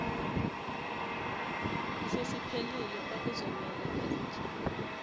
sesiphelile kwakuzomele azikhiphe